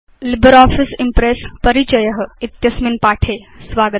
LibreOffice Impress परिचय इत्यस्मिन् पाठे स्वागतम्